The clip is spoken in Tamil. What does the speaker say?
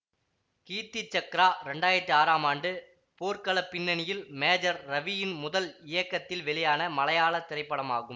கீர்த்தி சக்கரா இரண்டாயிரத்தி ஆறாம் ஆண்டு போர்க்களப் பின்னணியில் மேஜர் ரவியின் முதல் இயக்கத்தில் வெளியான மலையாள திரைப்படமாகும்